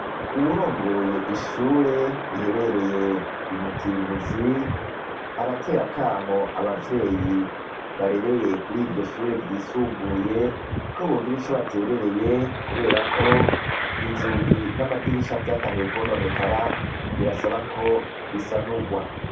Uwurongoye ishure riherereye i Mutimbuzi aratera akamo abavyeyi barereye kuri iryo shure ryisumbuye ko bogira ico baterereye kubera ko inzugi n'amadirisha vyatanguye kwononekara, birasaba ko bisanurwa.